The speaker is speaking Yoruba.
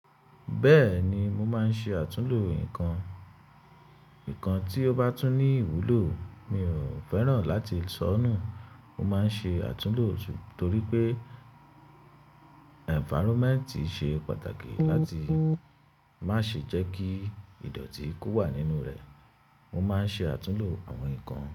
Bẹ́ẹ̀ni, mo máa ń ṣe àtúnlo ikan. Nǹkan tí ó bá tún ní ìwúlò, mi ò fẹ́ràn láti sọ nù. Mo máa ń ṣe àtúnlò torí pé environment ṣe pàtàkì láti má ṣe jẹ́ kí ìdọ̀tí ko wà nínú rẹ̀. Mo máa ń ṣe àtúnhò àwọn nǹkan.